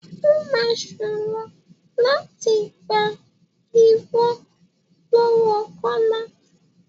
Ó máa ṣòro láti gbà irọ́ lọ́wọ kọ́lá.